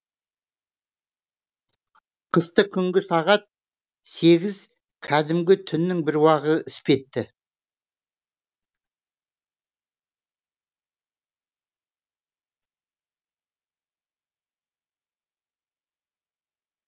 қысты күнгі сағат сегіз кәдімгі түннің бір уағы іспетті